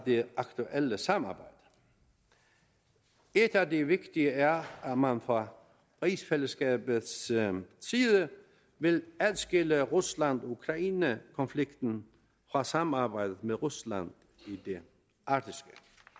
det aktuelle samarbejde et af de vigtige er at man fra rigsfællesskabets side vil adskille rusland ukraine konflikten fra samarbejdet med rusland i det arktiske